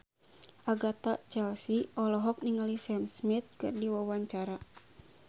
Agatha Chelsea olohok ningali Sam Smith keur diwawancara